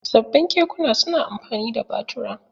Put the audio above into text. Sabbin kekuna su na amfani da batura.